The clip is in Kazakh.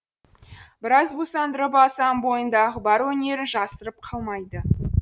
біраз бусандырып алсаң бойындағы бар өнерін жасырып қалмайды